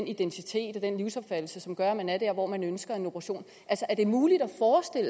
identitet og livsopfattelse som gør at man er der hvor man ønsker en operation er det muligt